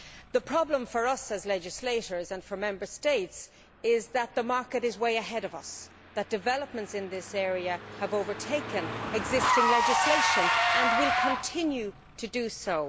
The problem for us as legislators, and for Member States, is that the market is way ahead of us developments in this area have overtaken existing legislation and will continue to do so.